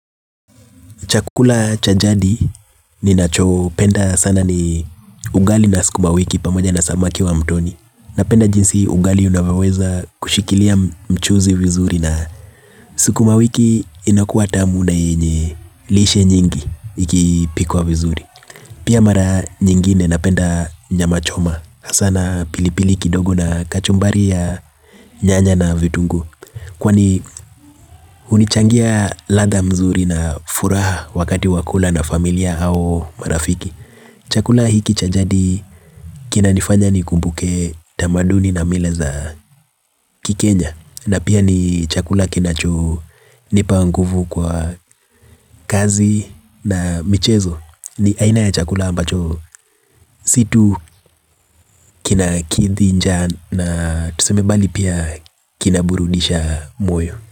Chakula chajadi ni nacho penda sana ni ugali na sikuma wiki pamoja na samaki wa mtoni. Napenda jinsi ugali unavaweza kushikilia mchuzi vizuri na sikuma wiki inakuwa tamu na inye lishe nyingi ikipikwa vizuri. Pia mara nyingine napenda nyama choma sana pilipili kidogo na kachumbari ya nyanya na vitungu. Kwani unichangia latha mzuri na furaha wakati wakula na familia au marafiki. Chakula hiki chajadi kina nifanya ni kumbuke tamaduni na mileza kikenya. Na pia ni chakula kinacho nipanguvu kwa kazi na michezo. Ni aina ya chakula ambacho situ kina kithi nja na tusemebali pia kinaburudisha moyo.